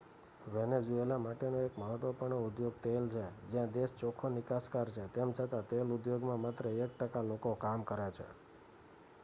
Venezuela માટેનો એક મહત્વપૂર્ણ ઉદ્યોગ તેલ છે જ્યાં દેશ ચોખ્ખો નિકાસકાર છે તેમ છતાં તેલ ઉદ્યોગમાં માત્ર એક ટકા લોકો કામ કરે છે